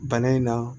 Bana in na